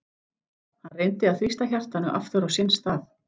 Hann reyndi að þrýsta hjartanu aftur á sinn stað.